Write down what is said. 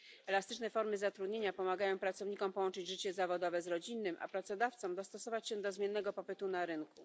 Elastyczne formy zatrudnienia pomagają pracownikom połączyć życie zawodowe z rodzinnym, a pracodawcom dostosować się do zmiennego popytu na rynku.